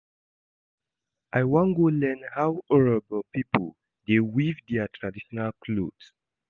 I wan go learn how Urhobo pipo dey weave their traditional cloth.